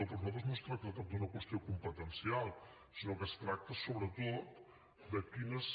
per nosaltres no es tracta tant d’una qüestió competencial sinó que es tracta sobretot de quines